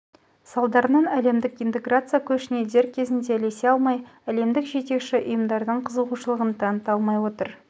салдарынан әлемдік интеграция көшіне дер кезінде ілесе алмай әлемдік жетекші ұйымдардың қызығушылығын таныта алмай отыр